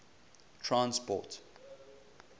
transport